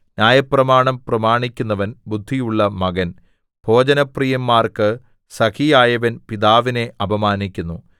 ന്യായപ്രമാണം പ്രമാണിക്കുന്നവൻ ബുദ്ധിയുള്ള മകൻ ഭോജനപ്രീയന്മാർക്കു സഖിയായവൻ പിതാവിനെ അപമാനിക്കുന്നു